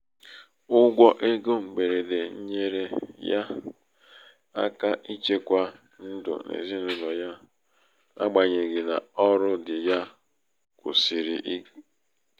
ụgwọ égo mgberede nyeere ya aka ichekwa ndụ ezinaụlọ ya n'agbanyeghị na ọrụ dị ya kwusìrị n'ike.